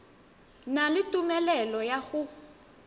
na le tumelelo ya go